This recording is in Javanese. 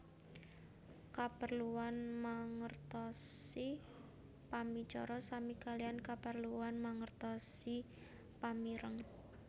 Kaperluan mangertosi pamicara sami kaliyan kaperluan mangertosi pamireng